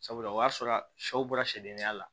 Sabula o y'a sɔrɔ sɛw bɔra sɛdenya la